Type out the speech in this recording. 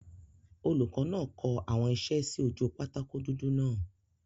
Olùkọ́ náà kọ àwọn isẹ́ sí ojú pátákó dúdú náà